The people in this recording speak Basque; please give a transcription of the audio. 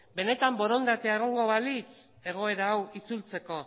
benetan borondatea egongo balitz egoera hau itzultzeko